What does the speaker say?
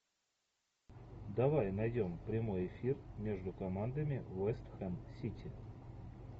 давай найдем прямой эфир между командами вест хэм сити